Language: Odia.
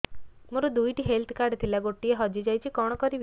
ମୋର ଦୁଇଟି ହେଲ୍ଥ କାର୍ଡ ଥିଲା ଗୋଟିଏ ହଜି ଯାଇଛି କଣ କରିବି